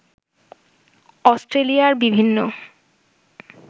অস্ট্রেলিয়ার বিভিন্ন